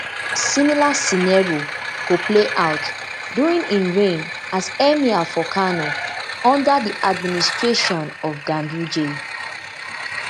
similar scenario go play out during im reign as emir for kano under di administration of ganduje